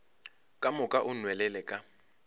ka moka o nwelele ka